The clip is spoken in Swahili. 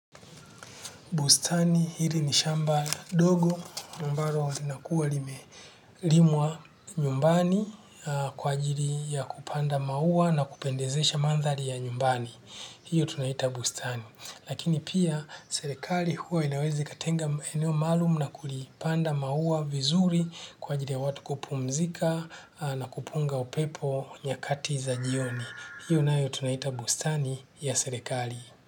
Bustani hili ni shamba dogo ambalo linakuwa limelimwa nyumbani kwa ajili ya kupanda maua na kupendezesha mandhari ya nyumbani. Hio tunaita bustani. Lakini pia serekali huwa inaweza ikatenga eneo maalum na kulipanda maua vizuri kwa ajili ya watu kupumzika na kupunga upepo nyakati za jioni. Hiyo nayo tunaita bustani ya serikali.